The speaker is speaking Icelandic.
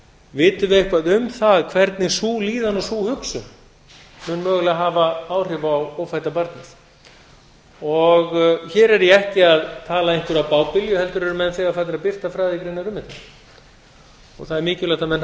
vitum við eitthvað um það hvernig sú líðan og sú hugsun mun mögulega hafa áhrif á ófædda barnið hér er ég ekki að tala einhverja bábilju heldur eru menn þegar farnir að birta um þetta og það er mikilvægt að menn hafi